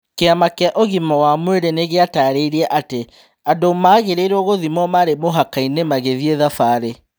Kĩama kĩa ũgima wa mwirĩ nĩgĩatarire atĩ andũ magĩrĩirwo gũthimwo marĩ mũhakainĩ magĩthiĩ thabarĩ.